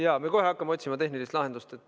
Jaa, me kohe hakkame otsima tehnilist lahendust.